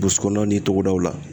Burusikɔnɔnaw ni togodaw la